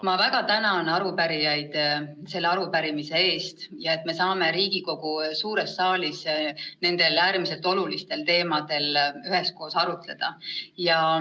Ma väga tänan arupärijaid selle arupärimise eest, selle eest, et me saame Riigikogu suures saalis nendel äärmiselt olulistel teemadel üheskoos arutleda.